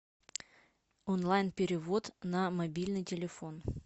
онлайн перевод на мобильный телефон